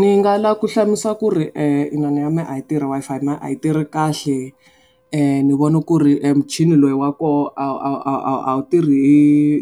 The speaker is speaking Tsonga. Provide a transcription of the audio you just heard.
Ni nga lava ku hlamusela ku ri inana ya mehe a yi tirhi Wi-Fi na a yi tirhi kahle. Ni vone ku ri emuchini lowu wa koho a wu a wu a wu tirhi